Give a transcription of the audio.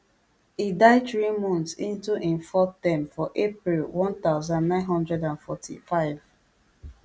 e die three months into im fourth term for april one thousand, nine hundred and forty-five